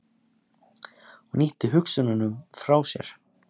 Hann ýtti hugsununum frá sér.